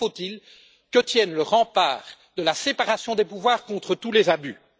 Encore faut il que tienne le rempart de la séparation des pouvoirs contre tous les abus.